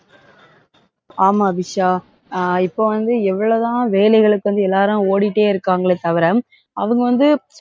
ஆமா, அபிஷா. அஹ் இப்ப வந்து எவ்வளவுதான் வேலைகளுக்கு வந்து எல்லாரும் ஓடிட்டே இருக்காங்களே தவிர அவுங்க வந்து,